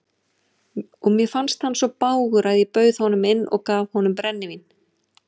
Og mér fannst hann svo bágur að ég bauð honum inn og gaf honum brennivín.